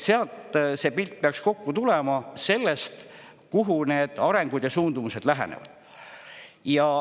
Sealt see pilt peaks kokku tulema – sellest, kuhu need arengud ja suundumused lähenevad.